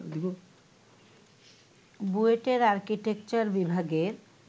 বুয়েটের আর্কিটেকচার বিভাগের